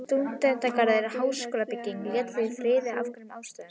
Stúdentagarðinn, en háskólabygginguna létu þeir í friði af einhverjum ástæðum.